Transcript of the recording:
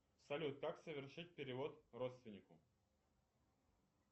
салют как совершить перевод родственнику